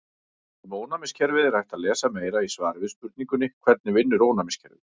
Um ónæmiskerfið er hægt að lesa meira í svari við spurningunni Hvernig vinnur ónæmiskerfið?